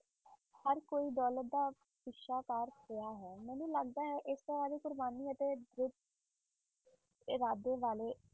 ਹਰ ਕੋਈ ਦੌਲਤ ਦਾ ਪਿੱਛਾ ਕਰ ਰਿਹਾ ਹੈ, ਮੈਨੂੰ ਲੱਗਦਾ ਹੈ ਇਸ ਤਰ੍ਹਾਂ ਦੀ ਕੁਰਬਾਨੀ ਅਤੇ ਦ੍ਰਿੜ ਇਰਾਦੇ ਵਾਲੇ